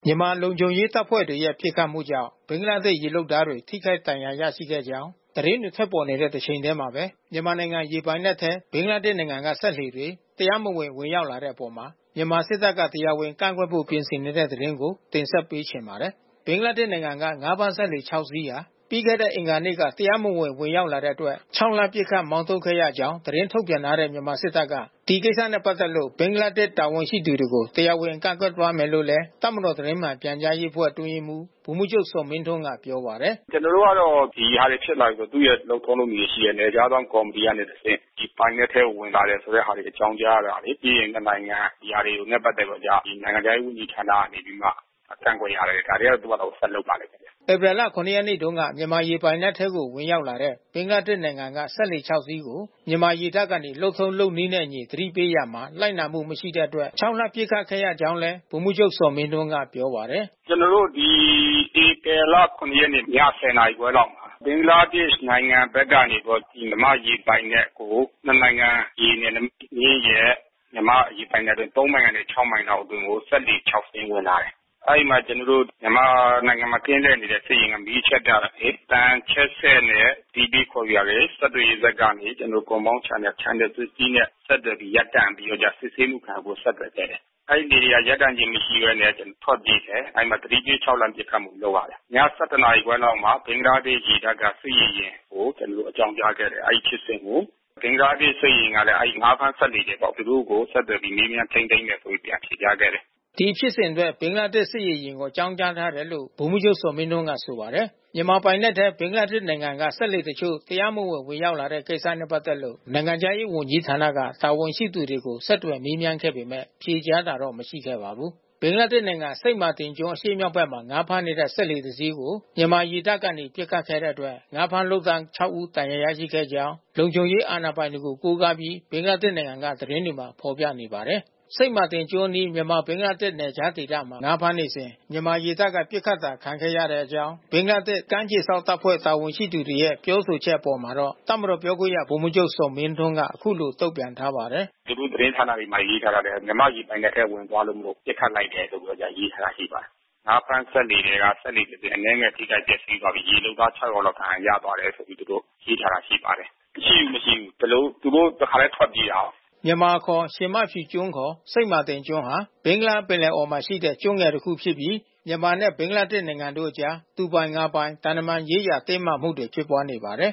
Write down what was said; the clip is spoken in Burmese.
မြန်မာလုံခြုံရေးတပ်ဖွဲ့တွေရဲ့ ပစ်ခတ်မှုကြောင့် ဘင်္ဂလားဒေ့ရှ် ရေလုပ်သားတွေ ထိခိုက်ဒဏ်ရာတွေ ရခဲ့ကြောင်း သတင်းတွေ ထွက်ပေါ်နေတဲ့ တချိန်တည်းမှာပဲ မြန်မာနိုင်ငံ ရေပိုင်နက်ထဲ ဘင်္ဂလားဒေ့ရှ်နိုင်ငံက စက်လှေတွေ တရားမဝင် ဝင်ရောက်လာတဲ့အပေါ် မြန်မာစစ်တပ်က တရားဝင်ကန့်ကွက်ဖို့ ပြင်ဆင်နေပါတယ်။ အပြည့်အစုံကို ဗွီအိုအေ မြန်မာပိုင်းသတင်းထောက် နိုင်ကွန်းအိန် သတင်းပေးပို့ထားပါတယ်။ ဘင်္ဂလားဒေ့ရှ်နိုင်ငံက ငါးဖမ်းလှေ ၆ စီး ပြီးခဲ့တဲ့ အင်္ဂါနေ့က တရားမဝင် ဝင်ရောက်လာတဲ့အတွက် ခြောက်လှန့်ပစ်ခတ်ပြီး မောင်းထုတ်ခဲ့ရကြောင်း သတင်းထုတ်ပြန်ထားတဲ့ မြန်မာစစ်တပ်က ဒီကိစ္စနဲ့ပတ်သက်လို့ ဘင်္ဂလားဒေ့ရှ် တာဝန်ရှိသူတွေကို တရားဝင် ကန့်ကွက်သွားမယ်လို့လည်း တပ်မတော် သတင်းမှန်ပြန်ကြားရေးအဖွဲ့ အတွင်းရေးမှူး ဗိုလ်မှူးချုပ်ဇော်မင်းထွန်းက ပြောပါတယ်။ “ကျနော်တို့ကတော့ ဒီဟာတွေဖြစ်လာပြီဆို သူ့ရဲ့ လုပ်ထုံးလုပ်နည်းတွေရှိတယ်။ နယ်ခြားစောင့်ကော်မတီကနေ တဆင့် ဒီပိုင်နက်ထဲဝင်လာတယ် ဆိုတဲ့ဟာတွေ အကြောင်းကြားတာတွေ။ ပြီးရင် နှစ်နိုင်ငံ ဒီဟာတွေနဲ့ပတ်သက်ပြီးတော့ နိုင်ငံခြားရေး ဝန်ကြီးဌာနကနေပြီးတော့မှ ကန့်ကွက်ရတယ်။ ဒါတွေကတော့ ဒီဘက်က ဆက်လုပ်ပါလိမ့်မယ်။” ဧပြီလ ၇ ရက်နေ့တုန်းက မြန်မာရေပိုင်နက်ထဲ ဝင်ရောက်လာတဲ့ ဘင်္ဂလားဒေ့ရ်ှနိုင်ငံက စက်လှေ ၆ စီးကို မြန်မာရေတပ်ကနေ လုပ်ထုံးလုပ်နည်းနဲ့အညီ သတိပေးရာမှာ လိုက်နာမှုမရှိတဲ့အတွက် ခြောက်လှန့်ပစ်ခတ်ခဲ့ရကြောင်းလည်း ဗိုလ်မှူးချုပ်ဇော်မင်းထွန်းက ပြောပါတယ်။ “ကျနော်တို့ ဒီ ဧပြီလ ၇ ရက်နေ့ ည ၁၀ နာရီခွဲလောက်မှာ ဘင်္ဂလားဒေ့ရ်ှနိုင်ငံဘက်ကနေ မြန်မာရေပိုင်နက်ကို နှစ်နိုင်ငံ ရေနယ်နိမိတ်မျဉ်းရဲ့ မြန်မာ့ရေပိုင်နက်အတွင်း ၃ မိုင်ကနေ ၆ မိုင်လောက်အတွင်းကို စက်လှေ ၆ စီး ဝင်လာတယ်။ အဲဒီမှာ ကျနော်တို့ မြန်မာနိုင်ငံမှာ ကင်းလှည့်နေတဲ့ စစ်ရေယာဉ်တွေ မီးအချက်ပြတာတွေ၊ အသံချဲ့စက်နဲ့ အသီးသီးခေါ်ယူတာတွေ၊ ဆက်သွယ်ရေးစက်ကနေ ကွန်ပေါင်း Channel 60 နဲ့ ဆက်သွယ်ပြီး ရပ်တန့်ပြီး စစ်ဆေးမှုခံယူဖို့ ဆက်သွယ်ခဲ့တယ်။ အဲဒီလှေတွေက ရပ်တန့်မှုမရှိဘဲနဲ့ ထွက်ပြေးတယ်။ အဲဒီမှာ သတိပေး ခြောက်လှန့်ပစ်ခတ်မှု လုပ်ရတယ်။ ည ၁၁ ခွဲလောက်မှာ ဘင်္ဂလားဒေ့ရ်ှရေတပ်က စစ်ရေယာဉ်ကို အကြောင်းကြားခဲ့တယ်။ အဲဒီဖြစ်စဉ်ကို ဘင်္ဂလားဒေ့ရ်ှ စစ်ရေယာဉ်ကလည်း အဲဒီ ငါးဖမ်းစက်လှေတွေအပေါ် သူတို့ကိုဆက်သွယ်ပြီး မေးမြန်းထိန်းသိမ်းတယ်ဆိုပြီး ပြန်ဖြေကြားခဲ့တယ်။” ဒီဖြစ်စဉ်အတွက် ဘင်္ဂလားဒေ့ရ်ှ စစ်ရေယာဉ်ကို အကြောင်းကြားထားတယ်လို့ ဗိုလ်မှူးချုပ်ဇော်မင်းထွန်းက ပြောပါတယ်။ မြန်မာပိုင်နက်ထဲ ဘင်္ဂလားဒေ့ရ်ှနိုင်ငံဘက်က စက်လှေတချို့ တရားမဝင် ဝင်ရောက်လာတဲ့ကိစ္စနဲ့ ပတ်သက်လို့ နိုင်ငံခြားရေးဝန်ကြီးဌာန တာဝန်ရှိသူတွေကို ဆက်သွယ်မေးမြန်းခဲ့ပေမယ့် ဖြေကြားတာတော့ မရှိခဲ့ပါဘူး။ ဘင်္ဂလားဒေ့ရှ်နိုင်ငံ စိန့်မာတင်ကျွန်း အရှေ့မြောက်ဘက်မှာ ငါးဖမ်းနေတဲ့ လှေတစီးကို မြန်မာရေတပ်ကနေ ပစ်ခတ်ခဲ့တဲ့အတွက် ငါးဖမ်းလုပ်သား ၆ ဦး ဒဏ်ရာရရှိခဲ့ကြောင့် လုံခြုံရေးအာဏာပိုင်တွေကို ကိုးကားပြီး ဘင်္ဂလားဒေ့ရှ်နိုင်ငံက သတင်းတွေမှာ ဖော်ပြနေပါတယ်။ စိန့်မာတင်ကျွန်းအနီး မြန်မာ-ဘင်္ဂလားဒေ့ရှ် နယ်ခြားဒေသမှာ ငါးဖမ်းနေစဉ် မြန်မာရေတပ်က ပစ်ခတ်တာ ခံခဲ့ရတဲ့အကြောင်း ဘင်္ဂလားဒေ့ရှ် ကမ်းခြေစောင့်တပ်ဖွဲ့ တာဝန်ရှိသူတွေရဲ့ ပြောဆိုချက်အပေါ်မှာတော့ တပ်မတော် ပြောခွင့်ရ ဗိုလ်မှူးချုပ်ဇော်မင်းထွန်းက အခုလို တုံ့ပြန်ထားပါတယ်။ “သူတို့သတင်းဌာနမှာ ရေးထားတာလည်း မြန်မာ့ရေပိုင်နက်ထဲ ဝင်သွားတာမို့လို့ ပစ်ခတ်လိုက်တယ်လို့ ရေးသားထားတာ ရှိပါတယ်။ ငါးဖမ်းစက်လှေထဲက စက်လှေတစင်း အနည်းငယ် ထိခိုက်ပျက်စီးသွားပြီး ရေလုပ်သား ၆ ယောက်လောက် ဒဏ်ရာရသွားတယ်လို့ သူတို့ရေးထားတာ ရှိပါတယ်။ မရှိဘူး မရှိဘူး။ ဒီလို သူတို့ တခါတည်း ထွက်ပြေးသွားတာကိုး။” မြန်မာအခေါ် ရှင်မဖြူကျွန်းခေါ် စိန့်မာတင်ကျွန်းဟာ ဘင်္ဂလားပင်လယ်အော်မှာရှိတဲ့ ကျွန်းငယ်တခုဖြစ်ပြီး မြန်မာနဲ့ ဘင်္ဂလားဒေ့ရှ်နိုင်ငံတို့အကြား သူပိုင်ငါပိုင် သံတမန်ရေးဆိုင်ရာ တင်းမာမှုတွေ ဖြစ်ပွားနေပါတယ်